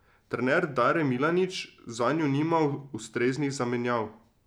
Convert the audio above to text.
Trener Dare Milanič zanju nima ustreznih zamenjav.